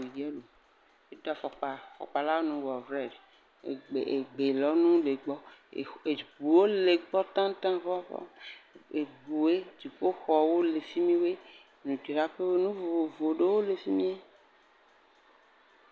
Ɖevie, edo afɔkpa, afɔkpa, afɔkpa la nu wɔ rɛd, egbelɔnu le gbɔ, eŋuwo le gbɔ tatata, eŋuwo, dziƒoxɔwo, le fi mi woe, … enu vovovowo le fi mi wɔe.